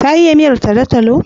Ta iya miyar talo-talo?